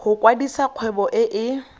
go kwadisa kgwebo e e